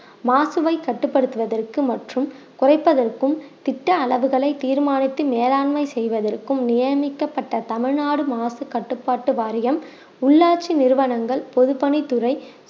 மாசுவை கட்டுப்படுத்துவதற்கு மற்றும் குறைப்பதற்கும் திட்ட அளவுகளை தீர்மானித்து மேலாண்மை செய்வதற்கும் நியமிக்கப்பட்ட தமிழ்நாடு மாசு கட்டுப்பாட்டு வாரியம் உள்ளாட்சி நிறுவனங்கள் பொதுப்பணித்துறை